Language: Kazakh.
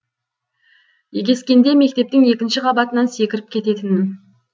егескенде мектептің екінші қабатынан секіріп кететінмін